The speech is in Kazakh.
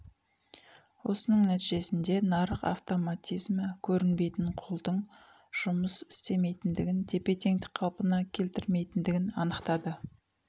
осының нәтижесінде нарық автоматизмі көрінбейтін қолдың жұмыс істемейтіндігін тепе-теңдік қалпына келтірмейтіндігін анықтады